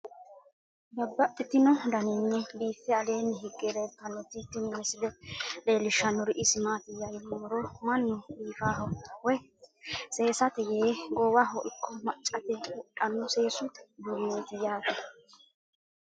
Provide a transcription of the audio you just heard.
Babaxxittinno daninni biiffe aleenni hige leelittannotti tinni misile lelishshanori isi maattiya yinummoro mannu biiffaho woy seesatte yee goowaho ikko maccatte wodhanno seessu uduuneetti yaatte